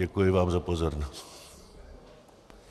Děkuji vám za pozornost.